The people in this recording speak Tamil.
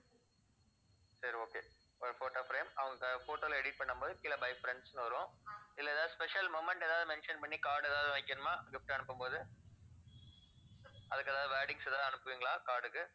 சரி okay ஒரு photo frame அவங்க photo ல edit பண்ணும்போது கீழே by friends ன்னு வரும். இதுல ஏதாவது special moment ஏதாவது mention பண்ணி card ஏதாவது வைக்கணுமா gift அனுப்பும்போது அதுக்கு ஏதாவது wordings ஏதாவது அனுப்புவீங்களா card உக்கு